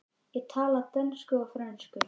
Ég tala dönsku og frönsku.